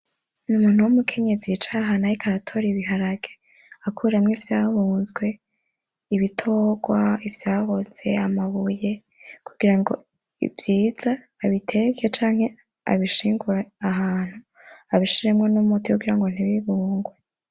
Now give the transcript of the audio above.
Umuntu w'umukenyezi yicaye ahantu ariko aratora ibiharage, akuramwo ivyabunzwe, ibitogwa ,ivyaboze, amabuye kugirango vyiza abiteke canke abishingure ahantu abishiremwo n'umuti kugirango ntibibungwe.